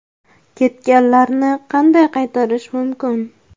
Ketganlarni qanday qaytarish mumkin?.